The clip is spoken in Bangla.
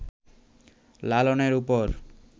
লালনের ওপর